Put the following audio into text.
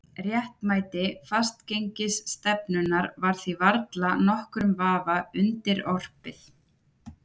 Réttmæti fastgengisstefnunnar var því varla nokkrum vafa undirorpið.